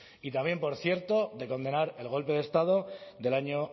y también por cierto de condenar el golpe de estado del año